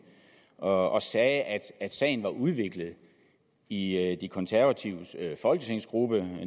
og sagde at sagen var blevet udviklet i de konservatives folketingsgruppe